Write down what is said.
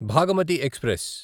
Bhagamathi express